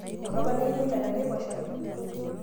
ngoto panai imina tenaiposha